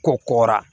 Kɔ kɔra